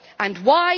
And why?